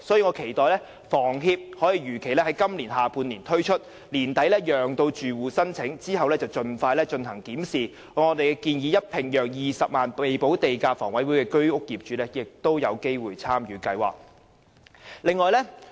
我期待房協可如期在今年下半年推出計劃，並於年底讓住戶申請，然後盡快檢視，並如我們所建議，讓20萬名未補地價的房委會居屋業主也有機會參與計劃。